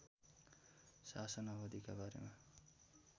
शासन अवधिका बारेमा